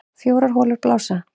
Fjórar holur blása